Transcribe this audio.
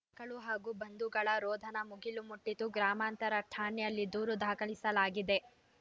ಕ್ಕಳು ಹಾಗೂ ಬಂಧುಗಳ ರೋಧನ ಮುಗಿಲು ಮುಟ್ಟಿತ್ತು ಗ್ರಾಮಾಂತರ ಠಾಣೆಯಲ್ಲಿ ದೂರು ದಾಖಲಿಸಲಾಗಿದೆ